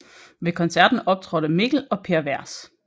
Ved koncerten optrådte Mikl og Per Vers